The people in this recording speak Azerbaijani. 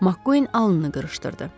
Makkuin alnını qırışdırdı.